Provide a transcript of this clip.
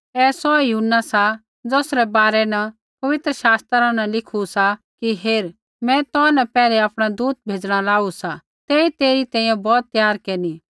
ऐ सौहै यूहन्ना सा ज़ौसरै बारै न पवित्र शास्त्रा न लिखू सा कि हेर मैं तो न पैहलै आपणा दूत भेज़णा लाऊ सा तेई तेरी तैंईंयैं बौत त्यार केरनी